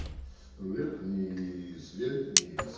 вверх-вниз вверх-вниз